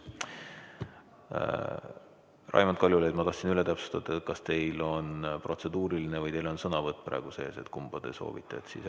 Raimond Kaljulaid, ma tahtsin üle täpsustada, kas teil on protseduuriline või teil on sõnavõtt praegu, kumba te soovite.